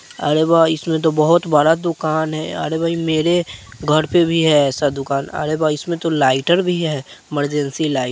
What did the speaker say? अरे वाह इसमें बहुत बड़ा दुकान है अरे भाई मेरे घर पे भी है ऐसा दुकान तो अरे वाह इसमें तो लाइटर भी है मार्जेंसी लाइ --